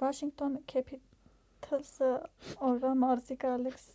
վաշինգթոն քեփիթըլսի օրվա մարզիկը ալեքս